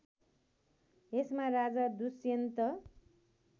यसमा राजा दुष्यन्त